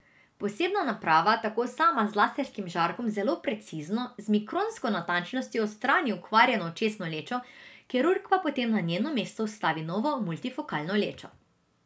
Posebna naprava tako sama z laserskim žarkom zelo precizno, z mikronsko natančnostjo, odstrani okvarjeno očesno lečo, kirurg pa potem na njeno mesto vstavi novo multifokalno lečo.